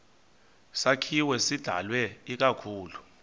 sakhiwo sidalwe ikakhulu